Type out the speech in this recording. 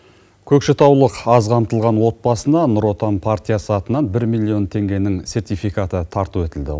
көкшетаулық аз қамтылған отбасына нұр отан партиясы атынан бір миллион теңгенің сертификаты тарту етілді